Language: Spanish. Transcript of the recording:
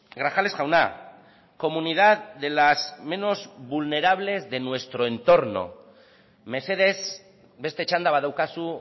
grajales jauna comunidad de las menos vulnerables de nuestro entorno mesedez beste txanda badaukazu